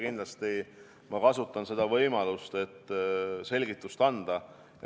Kindlasti ma kasutan võimalust, et selgitust anda.